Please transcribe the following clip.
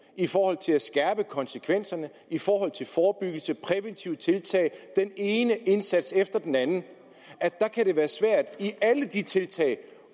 i forhold til at skærpe konsekvenserne i forhold til forebyggelse præventive tiltag den ene indsats efter den anden der kan det være svært i alle de tiltag